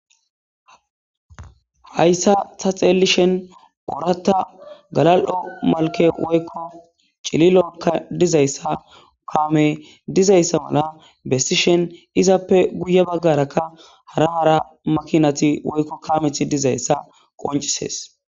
hayssa taxelishen oratta galal7o malke woykko cililokka dizayssa kamey dizayssa mala bessishen izappe guye baggarakka hara hara makinati woykko kameth dizayssa qoncisees